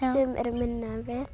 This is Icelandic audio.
sum eru minni en við